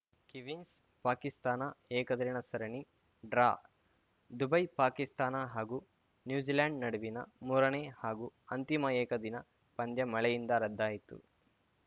ಕಿವೀಸ್‌ಪಾಕಿಸ್ತಾನ ಏಕದಿನ ಸರಣಿ draw Dubai Pakistan ಹಾಗೂ ನ್ಯೂಜಿಲೆಂಡ್‌ ನಡುವಿನ ಮೂರನೇ ಹಾಗೂ ಅಂತಿಮ ಏಕದಿನ ಪಂದ್ಯ ಮಳೆಯಿಂದ ರದ್ದಾಯಿತು